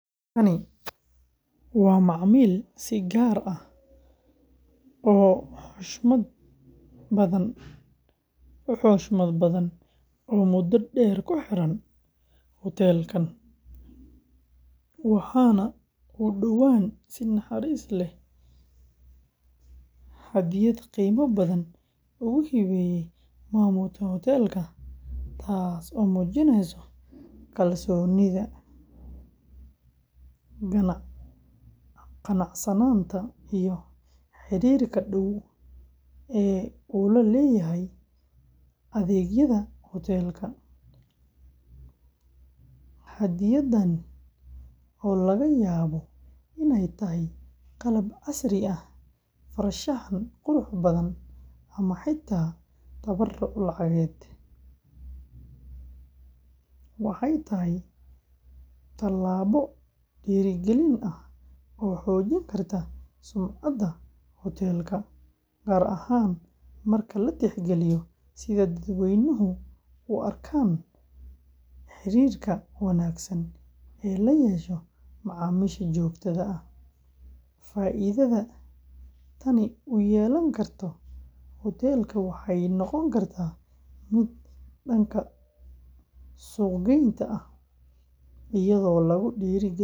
Kani waa macmiil si gaar ah u xushmad badan oo muddo dheer ku xiran hudheelkan, waxaana uu dhowaan si naxariis leh hadyad qiimo badan ugu hibeyey maamulka hudheelka, taas oo muujinaysa kalsoonida, qanacsanaanta iyo xiriirka dhow ee uu la leeyahay adeegyada hudheelka. Hadyaddan, oo laga yaabo inay tahay qalab casri ah, farshaxan qurux badan, ama xitaa tabaruc lacageed, waxay tahay tallaabo dhiirrigelin ah oo xoojin karta sumcadda hudheelka, gaar ahaan marka la tixgeliyo sida dadweynuhu u arkaan xidhiidhka wanaagsan ee lala yeesho macaamiisha joogtada ah. Faa’iidada tani u yeelan karto hudheelka waxay noqon kartaa mid dhanka suuq-geynta ah, iyadoo lagu dhiirrigelin karo macaamiil cusub.